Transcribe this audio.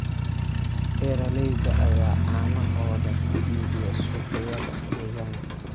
Beeralayda ayaa caanahooda ku iibiya suuqyada deegaanka.